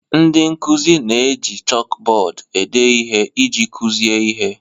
Ndị nkuzi na-eji chalkbọọdụ ede ihe iji kuzie ihe.